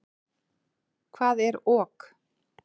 Hvað er ok?